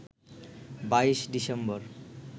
২২ December